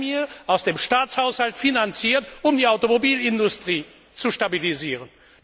eine Prämie, aus dem Staatshaushalt finanziert, um die Automobilindustrie zu stabilisieren.